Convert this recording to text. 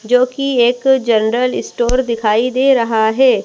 जोकि एक general store दिखाई दे रहा है।